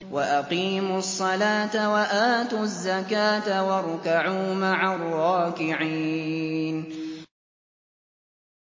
وَأَقِيمُوا الصَّلَاةَ وَآتُوا الزَّكَاةَ وَارْكَعُوا مَعَ الرَّاكِعِينَ